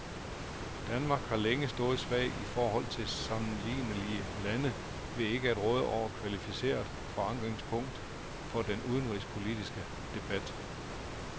Danmark har længe stået svagt i forhold til sammenlignelige lande ved ikke at råde over et kvalificeret forankringspunkt for den udenrigspolitiske debat.